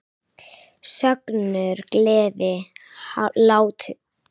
Söngur, gleði, hlátur.